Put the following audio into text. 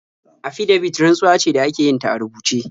Afidabit rantsuwa ce da ake yin ta a rubuce.